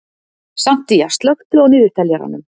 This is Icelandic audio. Santía, slökktu á niðurteljaranum.